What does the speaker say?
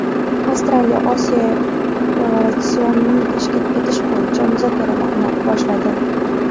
Avstraliya Osiyo Eurovision’ini tashkil etish bo‘yicha muzokaralarni boshladi.